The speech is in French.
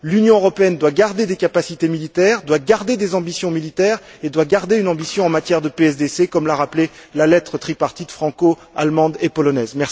L'Union européenne doit garder des capacités militaires, doit garder des ambitions militaires et doit garder une ambition en matière de PSDC, comme l'a rappelé la lettre tripartie franco allemande et polonaise.